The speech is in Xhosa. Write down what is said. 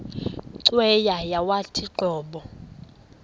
cweya yawathi qobo